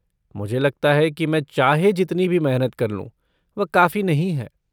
मुझे लगता है कि मैं चाहे जितनी भी मेहनत कर लूँ, वह काफी नहीं है।